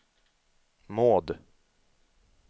Maud